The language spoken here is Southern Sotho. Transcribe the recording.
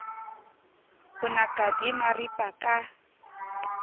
bo naka di maripa ka